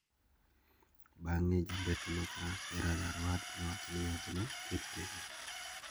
Bang`e, jambetre ma France Gerard Aruad ne owacho ni yadhno oket tenge.